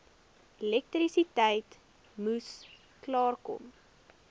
elektrisiteit moes klaarkom